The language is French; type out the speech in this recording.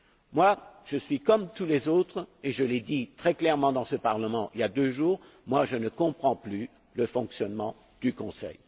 Moi, je suis comme tous les autres, et je l'ai dit très clairement dans ce Parlement il y a deux jours, je ne comprends plus le fonctionnement du Conseil.